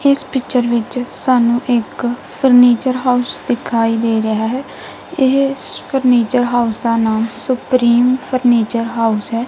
ਇਸ ਪਿਚਰ ਵਿੱਚ ਸਾਨੂੰ ਇੱਕ ਫਰਨੀਚਰ ਹਾਊਸ ਦਿਖਾਈ ਦੇ ਰਿਹਾ ਹੈ ਇਸ ਫਰਨੀਚਰ ਹਾਊਸ ਦਾ ਨਾਮ ਸੁਪਰੀਮ ਫਰਨੀਚਰ ਹਾਊਸ ਹੈ।